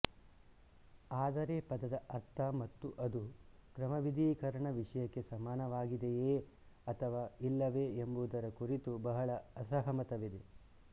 ಆದರೆ ಪದದ ಅರ್ಥ ಮತ್ತು ಅದು ಕ್ರಮವಿಧಿಕರಣ ವಿಷಯಕ್ಕೆ ಸಮಾನವಾಗಿದೆಯೇ ಅಥವಾ ಇಲ್ಲವೇ ಎಂಬುದರ ಕುರಿತು ಬಹಳ ಅಸಹಮತವಿದೆ